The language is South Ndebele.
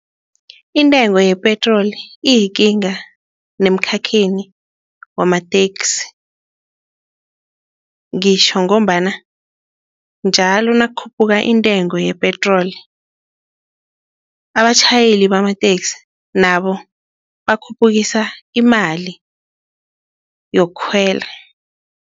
Intengo yepetroli iyikinga nemkhakheni wamateksi. Ngitjho ngombana njalo nakukhuphuka intengo yepetroli, abatjhayeli bamateksi nabo bakhuphukisa imali yokukhwela.